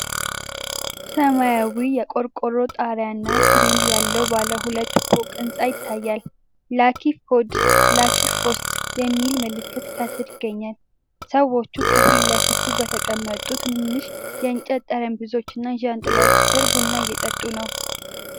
ሰማያዊ የቆርቆሮ ጣሪያ እና ግሪል ያለው ባለ ሁለት ፎቅ ህንፃ ይታያል። "ላኪ ፉድ ላኪ ፋስት" የሚል ምልክት ከስር ይገኛል። ሰዎች ከፊት ለፊቱ በተቀመጡ ትናንሽ የእንጨት ጠረጴዛዎች እና ዣንጥላዎች ስር ቡና እየጠጡ ነው።